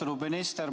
Austatud minister!